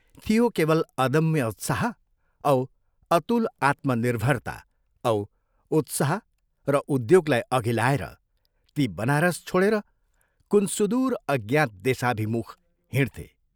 थियो केवल अदम्य उत्साह औ अतुल आत्मनिर्भरता औ उत्साह र उद्योगलाई अघि लाएर ती बनारस छोडेर कुन सुदूर अज्ञात देशाभिमुख हिंड्थे।